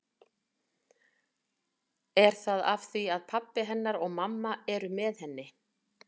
Er það af því að pabbi hennar og mamma eru með henni?